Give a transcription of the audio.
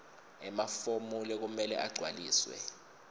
emafomu lekumele agcwaliswe